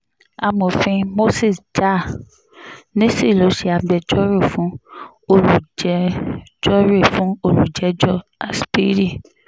amòfin moses jah-nissi ló ṣe agbẹjọ́rò fún olùjẹ́jọ́rẹ́ fún olùjẹ́jọ́ aspiri